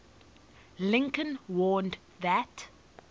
lincoln warned that